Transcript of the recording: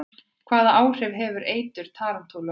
Hvaða áhrif hefur eitur tarantúlu á menn?